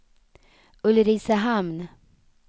Ulricehamn